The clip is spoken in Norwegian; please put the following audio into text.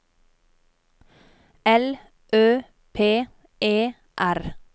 L Ø P E R